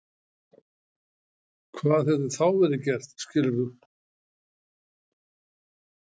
Hvað hefði þá verið gert skilur þú?